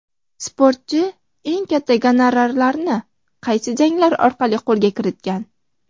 Sportchi eng katta gonorarlarini qaysi janglari orqali qo‘lga kiritgan?.